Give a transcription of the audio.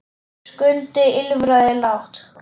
Skundi ýlfraði lágt.